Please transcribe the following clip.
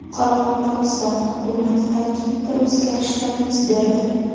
Qoraqalpog‘iston hukumati tarkibida o‘zgarishlar yuz berdi.